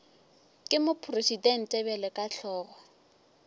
ke mopresidente bjalo ka hlogo